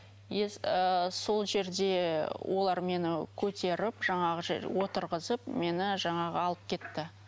ыыы сол жерде олар мені көтеріп жаңағы жер отырғызып мені жаңағы алып кетті